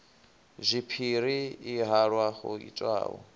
zwipiri i halwa ho itwaho